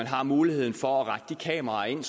har muligheden for at rette de kameraer ind